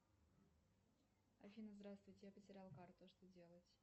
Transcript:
афина здравствуйте я потеряла карту что делать